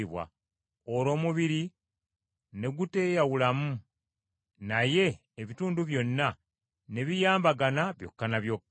olwo omubiri ne guteeyawulamu naye ebitundu byonna, ne biyambagana byokka ne byokka.